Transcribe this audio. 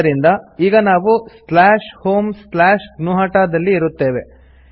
ಆದ್ದರಿಂದ ಈಗ ನಾವು homegnuhata ದಲ್ಲಿ ಇರುತ್ತೇವೆ